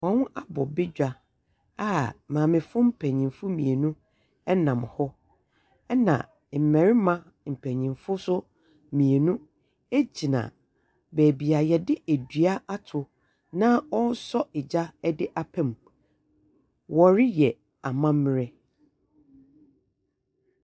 Wɔn abɔ badwa a maamefo mpanimfo mmienu nam hɔ, ɛna mmarima mpanimfo nso mmienu gyinaa baabi a wɔde dua ato na wɔresɔ egya de apa mu. Wɔreyɔ amammerɛ.